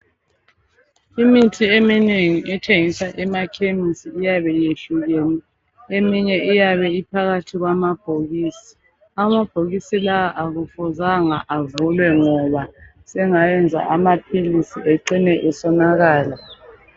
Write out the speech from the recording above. Imithi eminengi ethengiswa ema khemisi iyabe iyehlukene . Eminye iyabe iphakhathi kwama bhokisi, amabhokisi la akufuzanga avulwe ngoba sengayenza amaphilisi egcine asonakala.